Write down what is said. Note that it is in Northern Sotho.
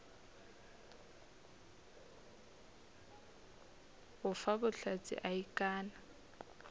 go fa bohlatse a ikanne